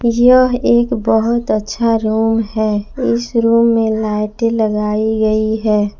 यह एक बहुत अच्छा रूम है इस रूम में लाइटे लगाई गई है।